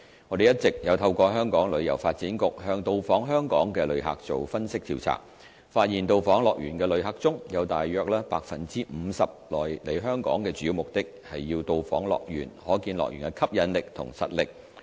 我們一直有透過香港旅遊發展局向到訪香港的旅客做分析調查，發現到訪樂園的旅客中，有大約 50% 來香港的主要目的是要到訪樂園，可見樂園的吸引力及實力。